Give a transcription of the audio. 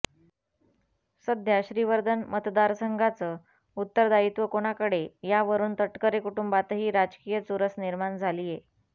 सध्या श्रीवर्धन मतदार संघाचं उत्तरदायित्व कोणाकडे यावरून तटकरे कुंटूबातही राजकीय चुरस निर्माण झालीये